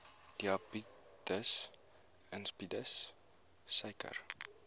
diabetes insipidus suiker